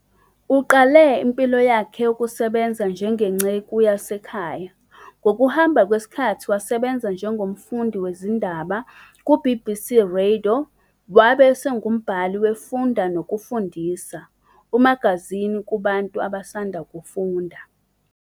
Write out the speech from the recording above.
Uqale impilo yakhe yokusebenza njengenceku yasekhaya, ngokuhamba kwesikhathi wasebenza njengomfundi wezindaba ku-naku- BBC Radio, wabe esengumbhali we -" Funda Nokufundisa ", umagazini kubantu abasanda kufunda.